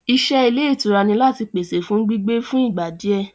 Ìṣe Ilé ìtura ni láti pèsè fún gbígbé fún ìgbà di ẹ.